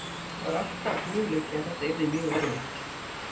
Það er alltaf möguleiki en það yrði mjög erfitt.